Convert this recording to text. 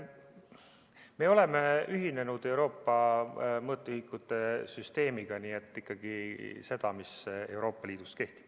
Me oleme ühinenud Euroopa mõõtühikute süsteemiga, nii et ikkagi seda, mis Euroopa Liidus kehtib.